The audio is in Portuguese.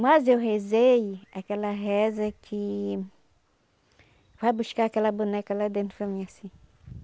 Mas eu rezei aquela reza que... Vai buscar aquela boneca lá dentro para mim assim.